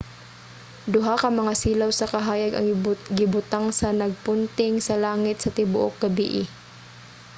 duha ka mga silaw sa kahayag ang gibutang nga nagpunting sa langit sa tibuok gabii